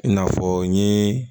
N'a fɔ n ye